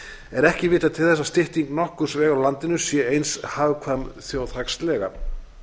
er ekki vitað til þess að stytting nokkurs vegar á landinu sé eins hagkvæm þjóðhagslega